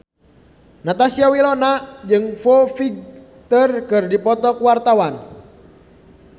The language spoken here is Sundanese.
Natasha Wilona jeung Foo Fighter keur dipoto ku wartawan